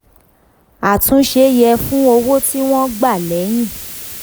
àtúnṣe yẹ fún owó tí wọ́n gbà lẹ́yìn.